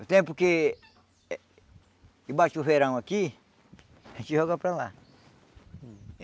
O tempo que que bate o verão aqui, a gente joga para lá.